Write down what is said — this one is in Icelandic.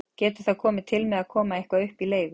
Getur það komið til með að koma eitthvað upp í leigu?